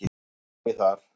Allt í lagi þar.